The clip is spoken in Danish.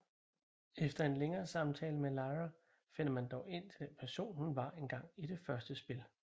Efter en længere samtale med Liara finder man dog ind til den person hun var engang i det første spil